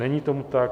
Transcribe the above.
Není tomu tak.